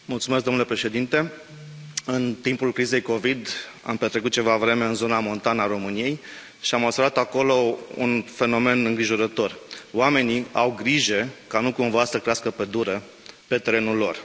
Domnule președinte, în timpul crizei de Covid, am petrecut ceva vreme în zona montană a României și am observat acolo un fenomen îngrijorător oamenii au grijă ca nu cumva să crească pădure pe terenul lor.